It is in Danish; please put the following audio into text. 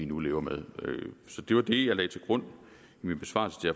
nu lever med så det var det jeg lagde til grund i min besvarelse til